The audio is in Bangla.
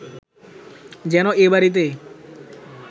যেন এ বাড়িতে